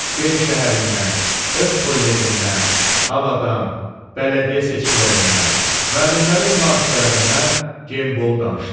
B. şəhərindən, öz kollecindən, havadan, bələdiyyə seçkilərindən, müəllimlərin münaqişələrindən Gembol danışdı.